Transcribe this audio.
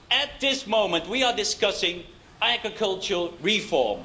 At this moment we are discussing agricultural reform.